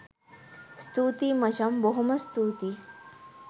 ස්තුතියි මචං බොහොම ස්තූතියි